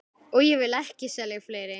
Aðrir tímar verða kynntir síðar.